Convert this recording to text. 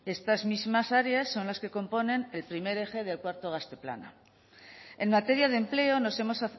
estas mismas áreas son las que componen el primer eje del cuarto gazte plana en materia de empleo nos hemos